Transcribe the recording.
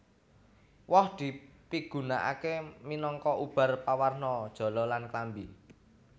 Woh dipigunakaké minangka ubar pawarna jala lan klambi